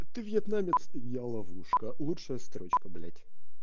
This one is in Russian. ты вьетнамец я ловушка лучшая строчка блять